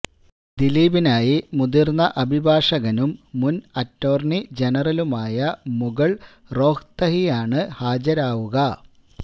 ദിലീപിനായി മുതിര്ന്ന അഭിഭാഷകനും മുന് അറ്റോര്ണി ജനറലുമായ മുകുള് റോഹ്ത്തകിയാണ് ഹാജരാവുക